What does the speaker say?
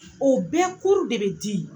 O bɛɛ de be di